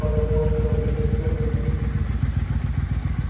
подумай о своём драгоценном малютке